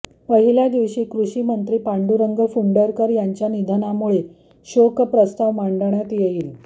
पहिल्या दिवशी कृषीमंत्री पांडुरंग फुंडकर यांच्या निधनामुळे शोकप्रस्ताव मांडण्यात येईल